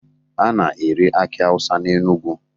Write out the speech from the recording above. A na-ere akị Awụsa n'Enugwu